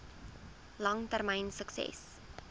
lang termyn sukses